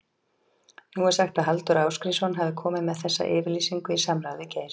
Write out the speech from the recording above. Nú er sagt að Halldór Ásgrímsson hafi komið með þessa yfirlýsingu í samráði við Geir?